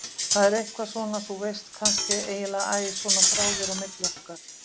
Það er eitthvað svona, þú veist, kannski, eiginlega æ, svona þráður á milli okkar.